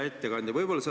Hea ettekandja!